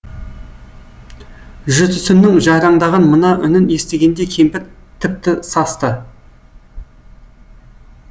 жүрсіннің жайраңдаған мына үнін естігенде кемпір тіпті састы